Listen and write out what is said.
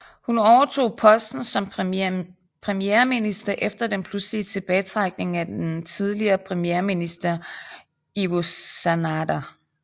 Hun overtog posten som premierminister efter den pludselige tilbagetrækning af den tidligere premierminister Ivo Sanader